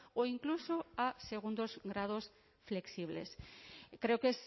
o incluso a segundos grados flexibles creo que